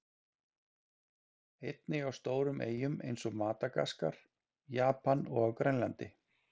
Einnig á stórum eyjum eins og Madagaskar, Japan og á Grænlandi.